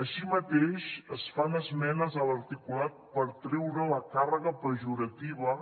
així mateix es fan esmenes a l’articulat per treure la càrrega pejorativa